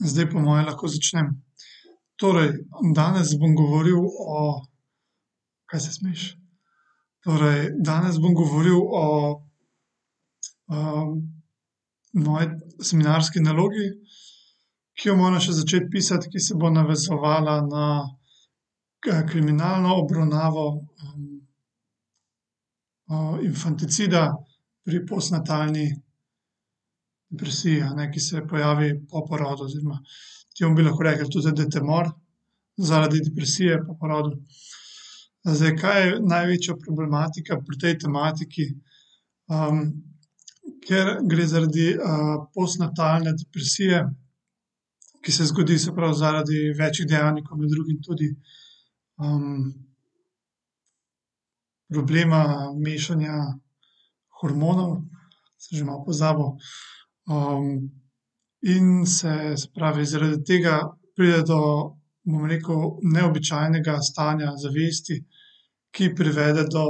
Zdaj po moje lahko začnem. Torej, danes bom govoril o, kaj se smejiš? Torej, danes bom govoril o, moji seminarski nalogi, ki jo moram še začeti pisati, ki se bo navezovala na, kriminalno obravnavo, infanticida pri postnatalni depresiji, a ne, ki se pojavi po porodu oziroma temu bi lahko rekli tudi detomor zaradi depresije po porodu. zdaj kaj je največja problematika pri tej tematiki, ker gre zaradi, postnatalne depresije, ki se zgodi se prav zaradi večih dejavnikov, med drugim tudi, problema mešanja hormonov. Sem že malo pozabil, in se se pravi, zaradi tega pride do, bom rekel, neobičajnega stanja zavesti, ki privede do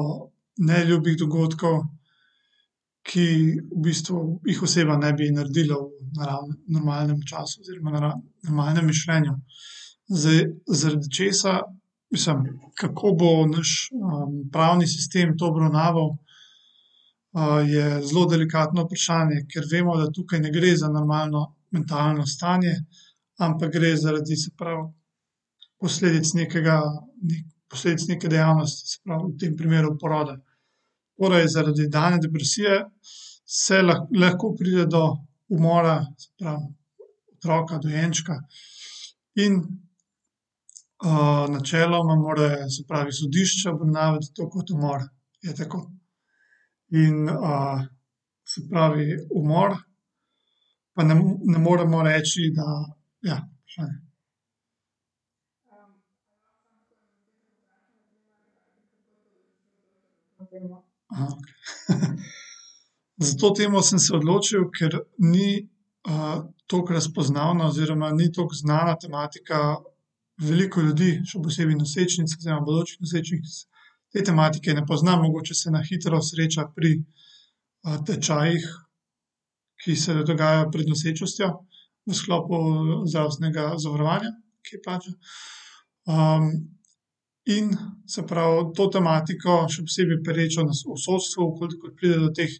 neljubih dogodkov, ki v bistvu jih oseba ne bi naredila v v normalnem času oziroma v v normalnem mišljenju. Zdaj, zaradi česa mislim, kako bo naš, pravni sistem to obravnaval, je zelo delikatno vprašanje, ker vemo, da tukaj ne gre za normalno mentalno stanje, ampak gre zaradi, se pravi, posledic nekega posledice neke dejavnosti, se pravi v tem primeru poroda. Torej zaradi dane depresije se lahko pride do umora, se pravi otroka, dojenčka in, načeloma mora, se pravi, sodišče obravnavati to kot umor. Je tako. In, se pravi umor pa ne moremo reči, da ja. S to temo sem se odločil, ker ni, toliko razpoznavna oziroma ni toliko znana tematika. Veliko ljudi, še posebej nosečnic oziroma bodočih nosečnic, te tematike ne pozna, mogoče se na hitro sreča pri, tečajih, ki se dogajajo pred nosečnostjo v sklopu zdravstvenega zavarovanja, ki plača. in se pravi to tematiko, še posebej perečo na v sodstvu, v kolikor pride do teh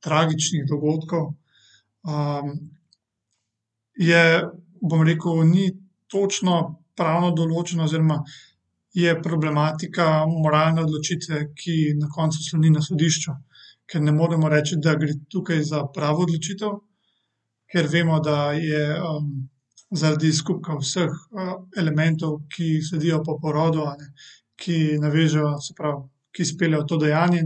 tragičnih dogodkov, je, bom rekel ni točno pravno določeno oziroma je problematika moralne odločitve, ki na koncu sloni na sodišču. Ker ne moremo reči, da gre tukaj za pravo odločitev, ker vemo, da je, zaradi skupka vseh elementov, ki sledijo po porodu, a ne, ki navežejo, se pravi, ki speljejo to dejanje,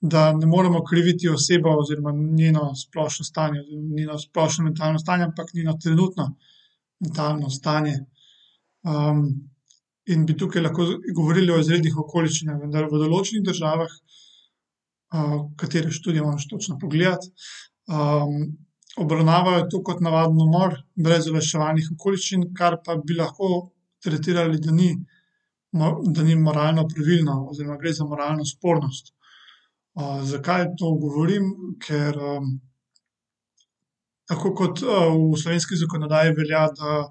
da ne moremo kriviti osebo oziroma njeno splošno stanje, njeno splošno mentalno stanje, ampak njeno trenutno mentalno stanje. in bi tukaj lahko govorili o izrednih okoliščinah, vendar v določenih državah, katere študije moram še točno pogledati, obravnavajo to kot navaden umor, brez olajševalnih okoliščin, kar pa bi lahko tretirali, da ni da ni moralno pravilno, oziroma gre za moralno spornost. zakaj to govorim, ker, tako kot, v slovenski zakonodaji velja, da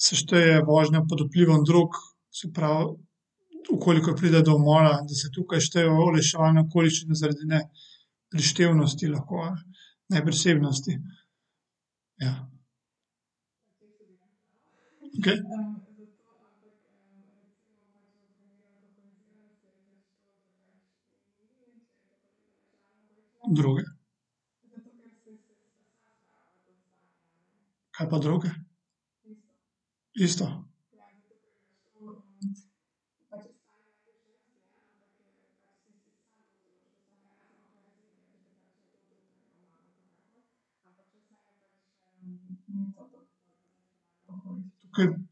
se šteje vožnja pod vplivom drog, se pravi, v koliko pride do umora, da se tukaj štejejo olajševalne okoliščine zaradi ne prištevnosti, lahko neprisebnosti, ja. Okej. Droge. Kaj pa droge? Isto. Kaj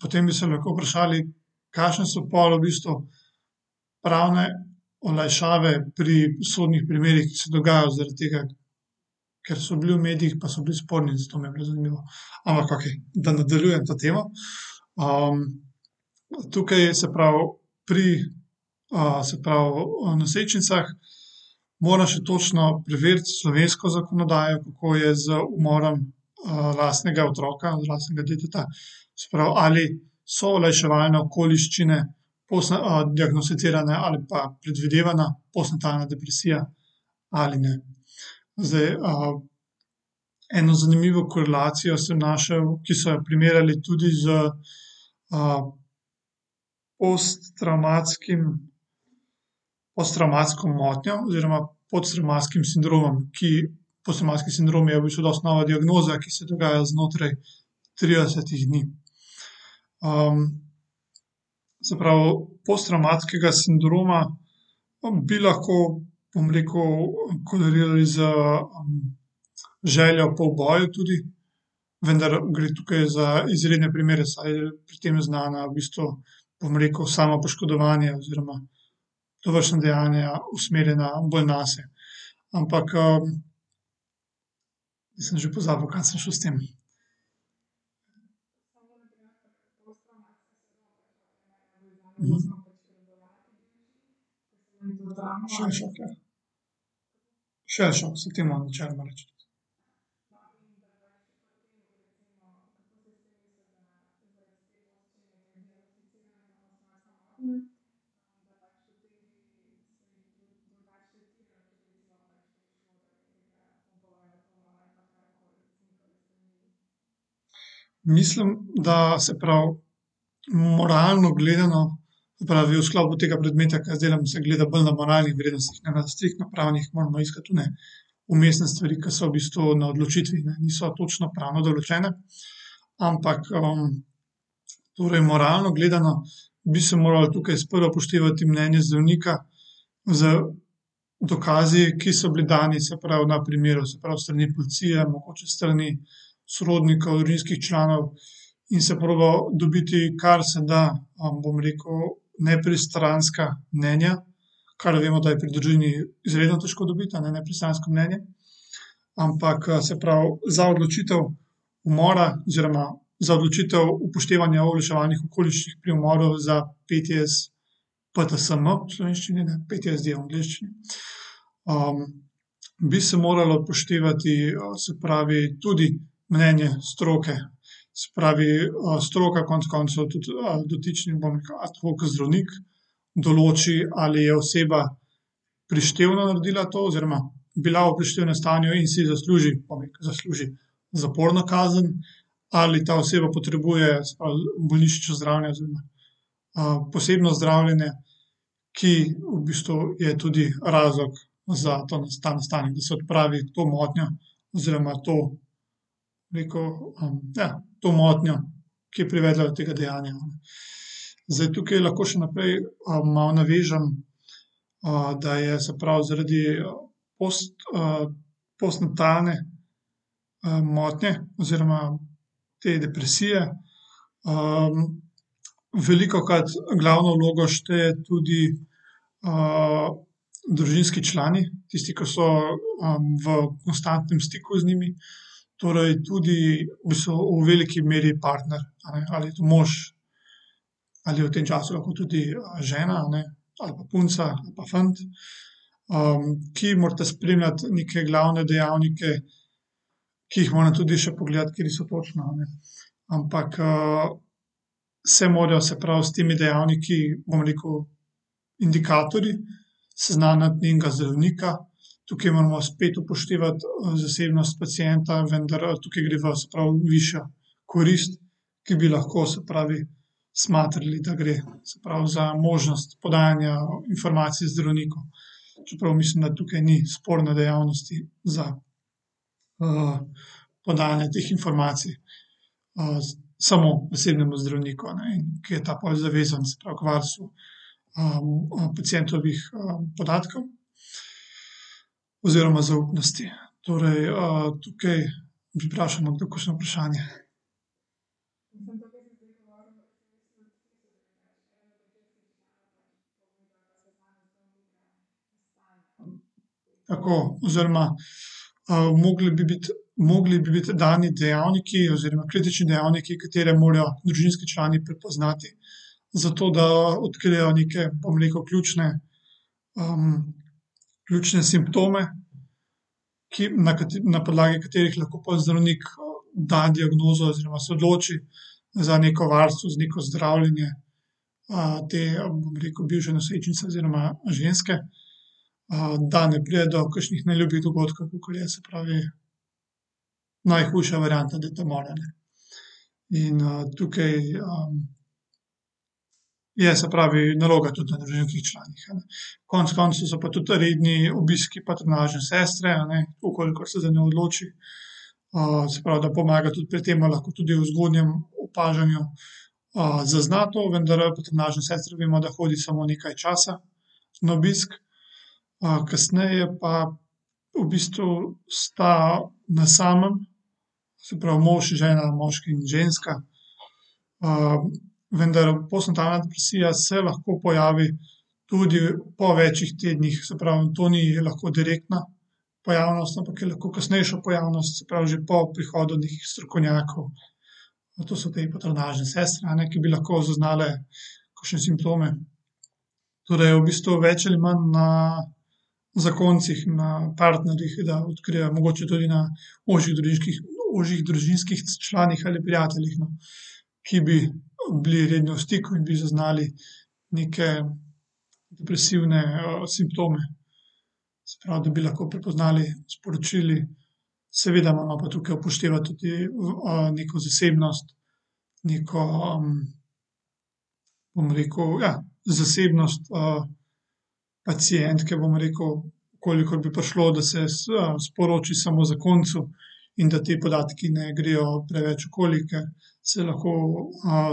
potem bi se lahko vprašali, kakšne so pol v bistvu pravne olajšave pri sodnih primerih, ki se dogajajo zaradi tega, ker so bili v medijih pa so bili sporni, zato me prav zanima, ampak okej. Da nadaljujem to temo, tukaj se pravi pri, se pravi, nosečnicah moram še točno preveriti slovensko zakonodajo, kako je z umorom, lastnega otroka, lastnega deteta, se pravi, ali so olajševalne okoliščine diagnosticirane ali pa predvidevana postnatalna depresija ali ne. Zdaj, eno zanimivo korelacijo sem našel, ki so jo primerjali tudi s, posttravmatskim, posttravmatsko motnjo oziroma posttravmatskim sindromom, ki posttravmatski sindrom je v bistvu dosti nova diagnoza, ki se dogaja znotraj tridesetih dni. se pravi, posttravmatskega sindroma, bi lahko, bom rekel, korelirali z željo po uboju tudi. Vendar gre tukaj za izredne primere, saj pri tem znana v bistvu, bom rekel, samopoškodovanje oziroma dovršna dejanja usmerjena bolj nase. Ampak, sem že pozabil, kam sem šel s tem. se temu načeloma reče. Mislim, da se prav moralno gledano, se pravi v sklopu tega predmeta, ke jaz delam, se gleda bolj na moralnih vrednostih, ne pa striktno pravnih, moramo iskati one vmesne stvari, ke so v bistvu na odločitvi, ne. Niso točno pravno določene. Ampak, torej moralno gledano, bi se moralo tukaj sprva upoštevati mnenje zdravnika z dokazi, ki so bili dani, se pravi na primeru, se pravi s strani policije, mogoče s strani sorodnikov, družinskih članov, in se proba dobiti, kar se da, bom rekel, nepristranska mnenja, kar vemo, da je pri družini izredno težko dobiti, a ne, nepristransko mnenje. Ampak, se pravi za odločitev umora oziroma za odločitev upoštevanja olajševalnih okoliščin pri umoru za PTS, PTSM v slovenščini, ne, PTS je v angleščini. bi se moralo upoštevati, se pravi, tudi mnenje stroke, se pravi, stroka konec koncev tudi, dotičnim, bom rekel, ad hoc zdravnik določi, ali je oseba prištevno naredila to oziroma bila v prištevnem stanju in si zasluži, zasluži zaporno kazen, ali ta oseba potrebuje, se pravi, bolnišnično zdravljenje oziroma, posebno zdravljenje, ki v bistvu je tudi razlog za ta, ta nastanek, da se odpravi to motnjo. Oziroma to neko, ja, to motnjo, ki je privedla do tega dejanja, no. Zdaj tukaj lahko še naprej, malo navežem, da je, se pravi zaradi post, postnatalne, motnje oziroma te depresije, velikokrat glavno vlogo štejejo tudi, družinski člani, tisti, ke so, v konstantnem stiku z njimi. Torej tudi v bistvu v veliki meri partner ali mož ali v tem času lahko tudi žena, a ne, ali pa punca ali pa fant, ki morata spremljati neke glavne dejavnike, ki jih moram tudi še pogledati, kateri so točno, a ne. Ampak, se morajo, se pravi, s temi dejavniki, bom rekel, indikatorji seznaniti njenega zdravnika. Tukaj moramo spet upoštevati, zasebnost pacienta, vendar, tukaj gre za, se pravi, višja korist, ki bi lahko, se pravi, smatrali, da gre, se pravi, za možnost podajanja informacij zdravniku. Čeprav mislim, da tukaj ni sporne dejavnosti za, podajanje teh informacij. samo osebnemu zdravniku, a ne, ki je ta pol zavezanec, k varstvu. pacientovih, podatkov oziroma zaupnosti. Torej, tukaj bi vprašali, ima kdo kakšno vprašanje? Tako oziroma, mogli bi biti, mogli bi biti dani dejavniki oziroma kritični dejavniki, katere morajo družinski člani prepoznati. Zato da odkrijejo neke, bom rekel, ključne, ključne simptome, ki na pa podlagi katerih lahko pol zdravnik da diagnozo oziroma se odloči za neko varstvo, za neko zdravljenje. potem bi rekel bivše nosečnice oziroma ženske. da ne pride do kakšnih neljubih dogodkov, kakor je, se pravi, najhujša varianta detomor, a ne. In, tukaj, Je, se pravi, naloga tudi na družinskih članih, a ne. Konec koncev so pa tudi redni obiski patronažne sestre, a ne, v kolikor se za njo odloči. se pravi, da pomaga tudi pri tem pa lahko tudi pri zgodnjem opažanju, zazna to, vendar patronažna sestra, vemo, da hodi samo nekaj časa na obisk. kasneje pa v bistvu sta na samem, se pravi, mož in žena, moški in ženska. vendar postnatalna depresija se lahko pojavi tudi po več tednih, se pravi, to ni lahko direktna pojavnost, ampak je lahko kasnejša pojavnost, se pravi, že po prihodu nekih strokovnjakov. No, to so te patronažne sestre, a ne, ki bi lahko zaznale kakšne simptome. Torej v bistvu več ali manj na zakoncih, na partnerjih, da odkrijejo, mogoče tudi na ožjih ožjih družinskih članih ali prijateljih, no, ki bi, bili redno v stiku in bi zaznali neke depresivne, simptome. Se pravi, da bi lahko prepoznali, sporočili seveda moramo pa tukaj upoštevati tudi, neko zasebnost, neko, bom rekel, ja, zasebnost, pacientke, bom rekel, v kolikor bi prišlo, da se sporoči samo zakoncu in da ti podatki ne grejo preveč okoli, ker se lahko,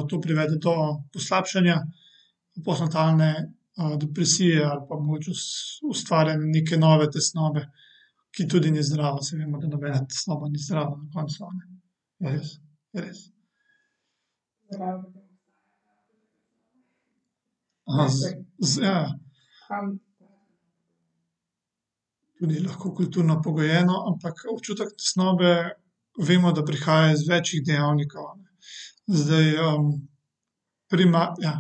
to privede do poslabšanja postnatalne, depresije ali pa mogoče ustvarjanje neke nove tesnobe, ki tudi ni zdrava, saj vemo, da nobena tesnoba ni zdrava na koncu, a ne. Res, res. z, z, ja. Tudi lahko kulturno pogojeno, ampak občutek tesnobe vemo, da prihaja iz več dejavnikov, a ne, zdaj, ja.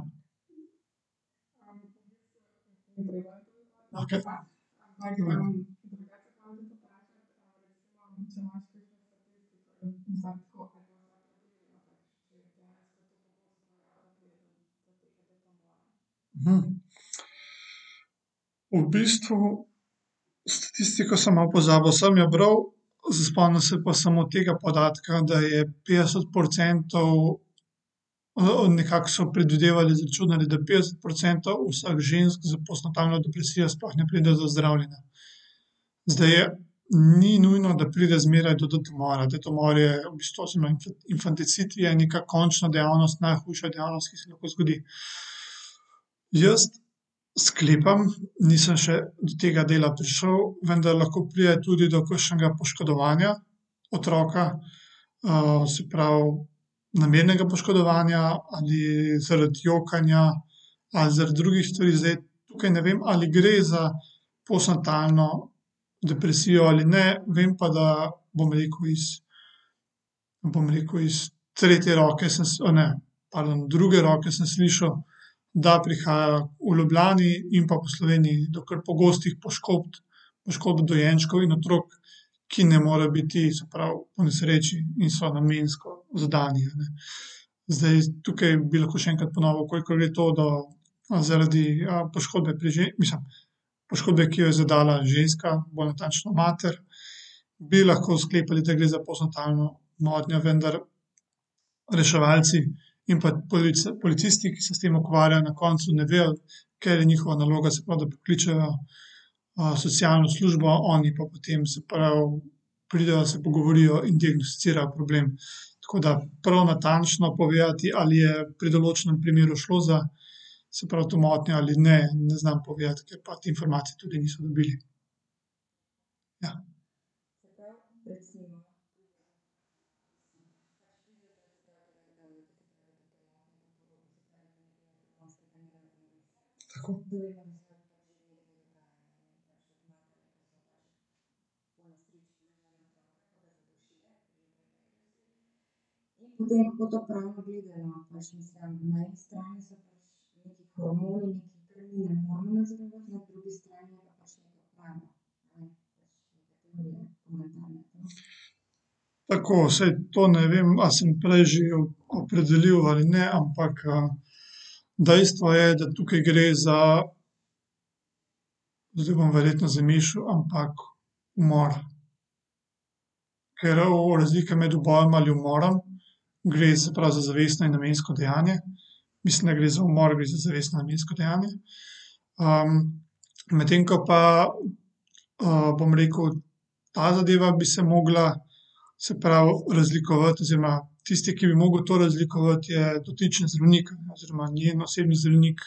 V bistvu statistiko sem malo pozabil, sem jo bral, se spomnim se tega podatka, da je petdeset procentov, nekako so predvidevali, izračunali, da petdeset procentov vseh žensk s postnatalno depresijo sploh ne pride do zdravljenja. Zdaj, ni nujno, da pride zmeraj do detomora. Detomor je v bistvu , infanticid je nekako končna dejavnost, najhujša dejavnost, ki se lahko zgodi. Jaz sklepam, nisem še do tega dela prišel, vendar lahko pride tudi do kakšnega poškodovanja otroka. se pravi namernega poškodovanja ali zaradi jokanja ali zaradi drugih stvari. Zdaj tukaj ne vem, ali gre za postnatalno depresijo ali ne, vem pa, da bom rekel iz, bom rekel, iz tretje roke sem se, a ne, pardon, druge roke sem slišal, da prihaja v Ljubljani in pa Sloveniji do kar pogostih poškodb. Poškodb dojenčkov in otrok, ki ne more biti, se pravi, ponesreči in so namensko zadane, a ne. Zdaj, tukaj bi lahko še enkrat ponovil, kolikor je to, zaradi, poškodbe pri mislim, poškodbe, ki jo je zadala ženska, bolj natančno mater, bi lahko sklepali, da gre za postnatalno motnjo, vendar reševalci in pa policisti, ki se s tem ukvarjajo, na koncu ne vejo, ker je njihova naloga, se pravi, da pokličejo, socialno službo, oni pa potem, se pravi, pridejo, se pogovorijo in diagnosticirajo problem. Tako da prav natančno povedati, ali je pri določenem primeru šlo za, se pravi, to motnjo ali ne, ne znam povedati, ker pa informacij tudi nismo dobili. Tako saj to ne vem, a sem prej že opredelil ali ne, ampak, dejstvo je, da tukaj gre za oziroma bom verjetno , ampak umor, ker o razlika med ubojem ali umorom, gre, se pravi, za zavestno in namensko dejanje, mislim, da gre za umor za zavestno namensko dejanje, medtem ko pa, bom rekel, ta zadeva, bi se mogla, se pravi, razlikovati oziroma tisti, ki bi mogel to razlikovati, je dotični zdravnik oziroma njen osebni zdravnik,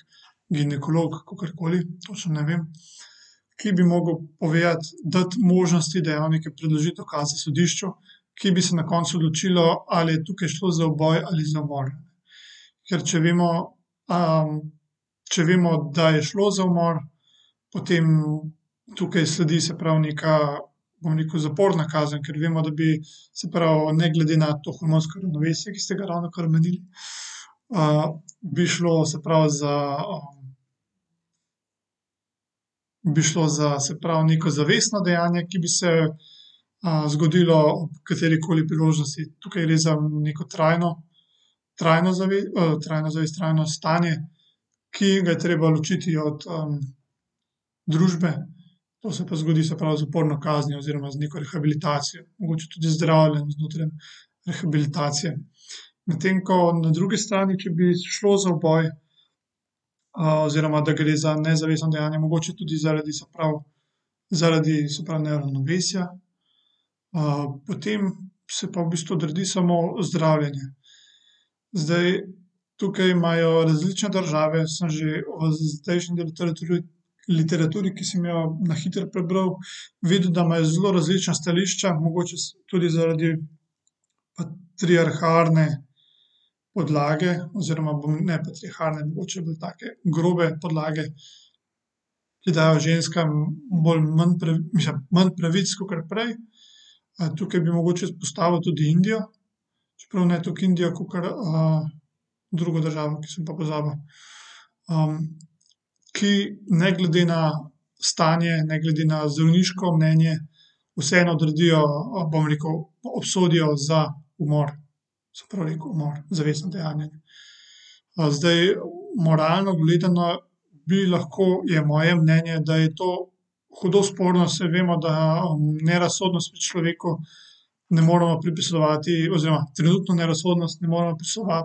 ginekolog, kakorkoli, to še ne vem, ki bi mogel povedati, dati možnosti, dejavnike, predložiti dokaze sodišču, ki bi se na koncu odločilo, ali je tukaj šlo za uboj ali za umor. Ker, če vemo, če vemo, da je šlo za umor, potem tukaj sledi, se pravi, neka, bom rekel, zaporna kazen, ker vemo, da bi, se pravi, ne glede na to hormonsko ravnovesje, ki ste ga ravnokar omenili, bi šlo, se pravi, za, bi šlo za, se pravi, neko zavestno dejanje, ki bi se, zgodilo ob katerikoli priložnosti. Tukaj gre za neko trajno, trajno trajno zavest, trajno stanje, ki ga je treba ločiti od, družbe. To se pa zgodi, se pravi, z zaporno kaznijo oziroma z neko rehabilitacijo, mogoče tudi zdravljenje znotraj rehabilitacije. Medtem ko na drugi strani, ki bi šlo za uboj, oziroma da gre za nezavestno dejanje, mogoče tudi zaradi, se pravi, zaradi, se pravi, neravnovesja. potem se pa v bistvu odredi samo zdravljenje. Zdaj, tukaj imajo različne države, sem že zdajšnji del literature, literaturi, ki sem jo na hitro prebral, videl, da imajo zelo različna stališča, mogoče tudi zaradi patriarhalne podlage oziroma bom, ne patriarhalne, mogoče bolj take grobe podlage, ki dajo ženskam bolj manj mislim, manj pravic kakor prej. tukaj bi mogoče izpostavil tudi Indijo, čeprav ne toliko Indijo kakor, drugo državo, ki sem pa pozabil. ki ne glede na stanje, ne glede na zdravniško mnenje vseeno odredijo, bom rekel, obsodijo za umor. Se pravi, umor, zavestno dejanje. zdaj moralno gledano bi lahko, je moje mnenje, da je to hudo sporno, saj vemo, da nerazsodnost pri človeku ne moremo pripisovati oziroma trenutno nerazsodnost ne moremo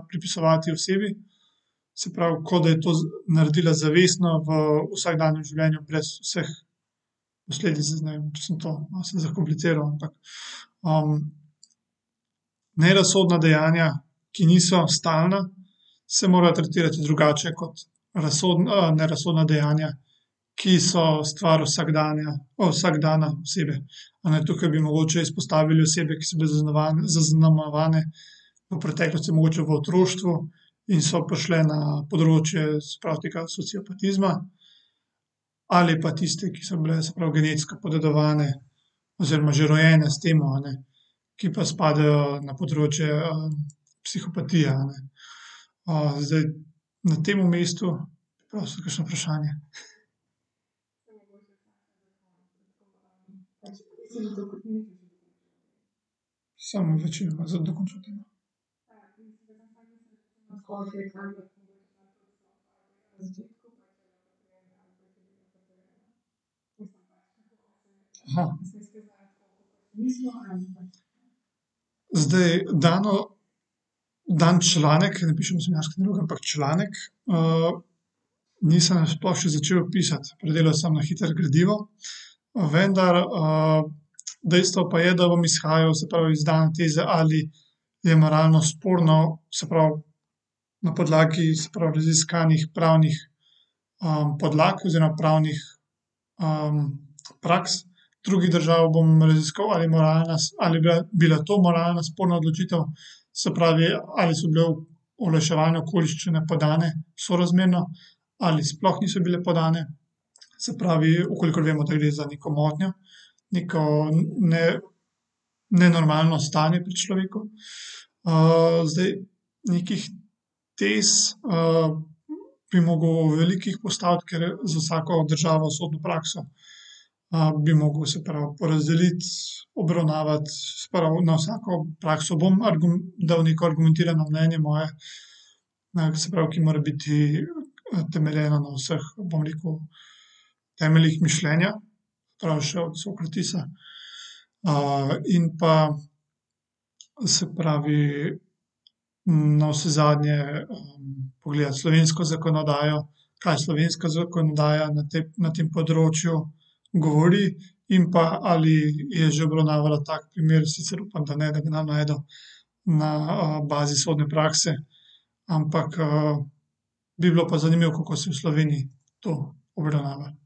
pripisovati osebi. Se pravi, kot da je to naredila zavestno v vsakdanjem življenju brez vseh posledic. Ne vem, če sem to malo sem zakompliciral, ampak, Nerazsodna dejanja, ki niso stalna, se mora tretirati drugače kot nerazsodna dejanja, ki so stvar vsakdana posebej, a ne, tukaj bi mogoče izpostavili osebe, ki so bile zaznamovane v preteklosti, mogoče v otroštvu, in so prišle na področje, se pravi, tega sociopatizma ali pa tiste, ki so bile, se pravi, genetsko podedovane oziroma že rojene s tem, a ne, ki pa spadajo na področje, psihopatije, a ne. zdaj na tem mestu bi prosil kakšno vprašanje. Samo odločilno za dokončati, a ne. Zdaj dano, dani članek, ker ne pišem seminarske naloge, ampak članek, nisem sploh še začel pisati. Predelal sem na hitro gradivo. vendar, dejstvo pa je, da bom izhajal, se pravi, iz dane teze, ali je moralno sporno, se pravi, na podlagi, se pravi, raziskanih pravnih, podlag oziroma pravnih, praks drugih držav bom raziskoval, ali moralna ali bila to moralna sporna odločitev, se pravi, ali so bile olajševalne okoliščine podane sorazmerno ali sploh niso bile podane. Se pravi, v kolikor vemo, gre za neko motnjo. Neko ne, nenormalno stanje pri človeku. zdaj nekih tez, bi mogel veliko jih postaviti, ker je za vsako državo sodno prakso, bi mogel, se pravi, porazdelit, obravnavat, se pravi, na vsako prakso bom dal neko argumentirano mnenje moje na, se pravi, ki mora biti temeljeno na vseh, bom rekel, temeljih mišljenja. in pa, se pravi, navsezadnje, pogledati slovensko zakonodajo, kaj slovenska zakonodaja na te, ne tem področju govori in pa ali je že obravnavala tak primer, sicer upam, da ne, da ga ne bom našel na, bazi sodne prakse. Ampak, bi bilo pa zanimivo, kako se v Sloveniji to obravnava.